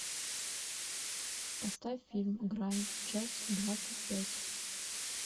поставь фильм грань часть двадцать пять